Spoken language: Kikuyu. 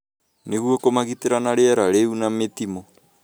nĩguo kũmagitĩra na rĩera rĩũru na mĩtimũ,